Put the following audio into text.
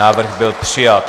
Návrh byl přijat.